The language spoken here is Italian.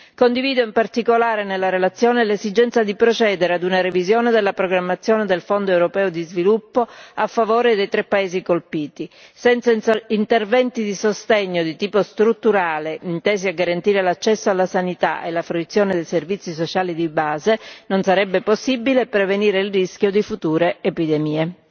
Condivido in particolare, nella relazione, l'esigenza di procedere ad una revisione della programmazione del Fondo europeo di sviluppo a favore dei tre paesi colpiti senza interventi di sostegno di tipo strutturale intesi a garantire l'accesso alla sanità e la fruizione dei servizi sociali di base non sarebbe possibile prevenire il rischio di future epidemie.